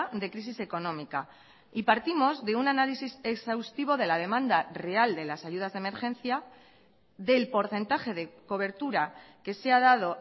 de crisis económica y partimos de un análisis exhaustivo de la demanda real de las ayudas de emergencia del porcentaje de cobertura que se ha dado